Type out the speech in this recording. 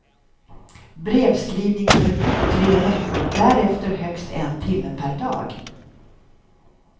Brevskrivningsförbud tre veckor, därefter högst en timme per dag.